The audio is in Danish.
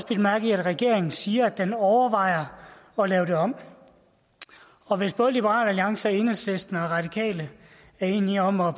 bidt mærke i at regeringen siger at den overvejer at lave det om om hvis både liberal alliance og enhedslisten og radikale er enige om at